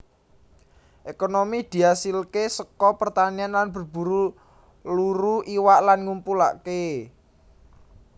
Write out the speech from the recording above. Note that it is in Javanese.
Ekonomi diasilke saka pertanian lan berburu luru iwak lan ngumpulake